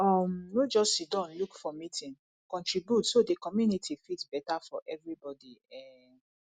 um no just siddon look for meeting contribute so the community fit better for everybody um